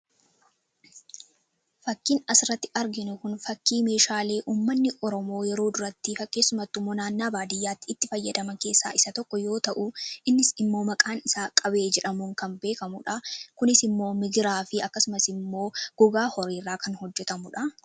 fakiin as irratti arginu kun fakii meeshaalee ummanni Oromoo yeroo durattifaa keessumattimmoo naannaa baadiyyaatti itti fayyadaman keessaa isa tokko yoo ta'u innis immoo maqaan isa qabee jedhamuun kan beekamuudha. Kunis immoo migiraa fi akkasumas immoo gogaa horiirraa kan hojjetamuudha.